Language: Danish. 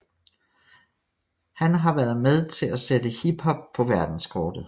Han har han været med til at sætte Hip hop på verdenskortet